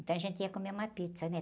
Então a gente ia comer uma pizza, né?